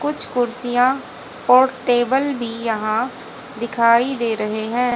कुछ कुर्सियां और टेबल भी यहां दिखाई दे रहे हैं।